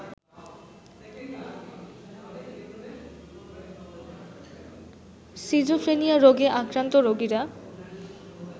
schizophrenia রোগে আক্রান্ত রোগীরা